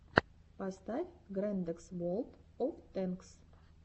поставь грэндэкс волд оф тэнкс